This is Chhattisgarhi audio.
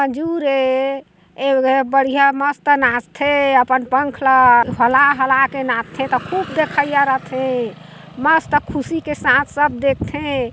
--ए बढ़िया मस्त नाचथे अपन पंख ला हला हला के नाचथे ता खूब देखइया रथे मस्त खुशी के साथ सब देखथे।